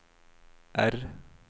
R